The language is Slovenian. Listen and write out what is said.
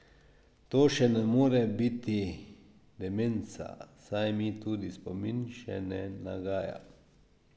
To še ne more biti demenca, saj mi tudi spomin še ne nagaja.